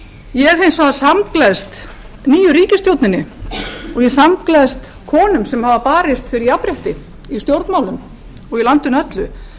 ég hins vegar samgleðst nýju ríkisstjórninni og ég samgleðst konum sem hafa barist fyrir jafnrétti í stjórnmálum og í landinu öllu